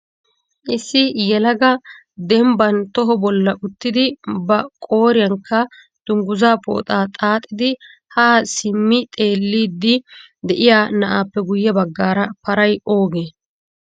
Issi yelaga dembban toho bolla uttidi ba qooriyankka dungguzza pooxa qachchidi ha simmo xeelido de'iyaa na'appe guyye baggaara paray oogee?